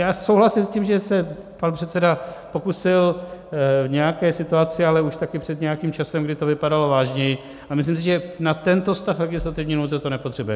Já souhlasím s tím, že se pan předseda pokusil v nějaké situaci, ale už také před nějakým časem, kdy to vypadalo vážněji, a myslím si, že na tento stav legislativní nouze to nepotřebujeme.